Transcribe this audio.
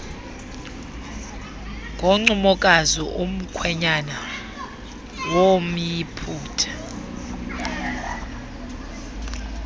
ngoncumokazi umkhwenyana womyiputa